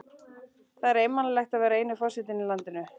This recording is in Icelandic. Það er einmanalegt að vera eini forsetinn í landinu.